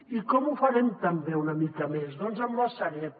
i com ho farem també una mica més doncs amb la sareb